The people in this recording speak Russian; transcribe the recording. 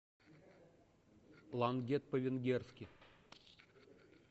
плангет по венгерски